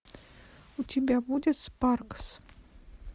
у тебя будет спаркс